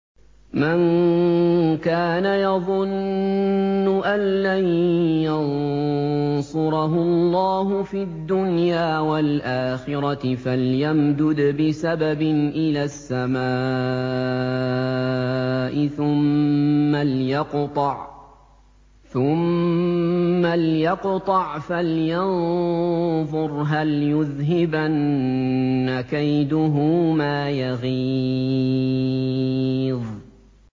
مَن كَانَ يَظُنُّ أَن لَّن يَنصُرَهُ اللَّهُ فِي الدُّنْيَا وَالْآخِرَةِ فَلْيَمْدُدْ بِسَبَبٍ إِلَى السَّمَاءِ ثُمَّ لْيَقْطَعْ فَلْيَنظُرْ هَلْ يُذْهِبَنَّ كَيْدُهُ مَا يَغِيظُ